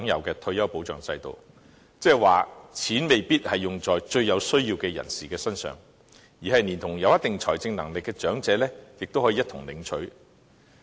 即是說，錢未必用在最有需要的人士身上，即使是有一定財政能力的長者，亦同樣可以領取。